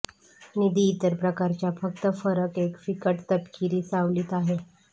निधी इतर प्रकारच्या फक्त फरक एक फिकट तपकिरी सावलीत आहे